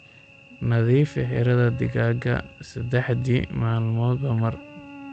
Nadiifi xiradha digaaga saddexdii maalmoodba mar.